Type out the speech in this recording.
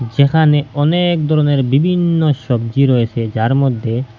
সেখানে অনেক ধরনের বিভিন্ন সবজি রয়েসে যার মধ্যে--